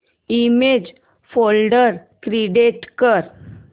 image folder create कर